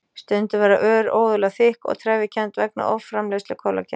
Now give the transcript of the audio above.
Stundum verða ör óeðlilega þykk og trefjakennd vegna offramleiðslu kollagens.